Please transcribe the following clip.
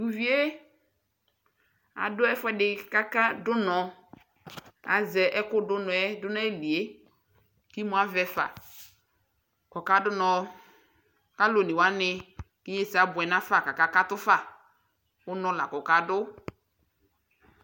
tʊ uvi yɛ ɔdʊ ɛfuɛdɩ kʊ ɔkadʊ unɔ, azɛ ɛkʊ dʊ unɔ dʊ nʊ ayili yɛ, kʊ imu avɛ fa, kʊ ɔkadʊ unɔ, alʊ onewani, inyesɛ abuɛ nafa, kʊ akakatʊ fa, unɔ la kʊ ɔkadʊ